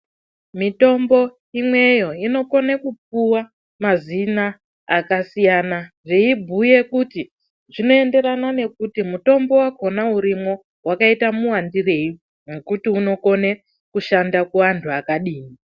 Mitombo imwenyo inokone kupuwa mazina akasiyana siyana zveibhuya kuti mutombo wakona urimwo wakaite muwandirei nekuti unokone kushanda kuvanhu wakadii.